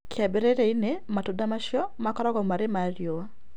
Kĩambĩrĩria-inĩ matunda macio makoragwo marĩ ma riũa